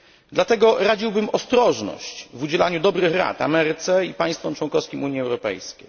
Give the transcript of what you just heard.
Dlatego radziłbym ostrożność w udzielaniu dobrych rad Ameryce i państwom członkowskim Unii Europejskiej.